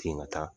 Ten ka taa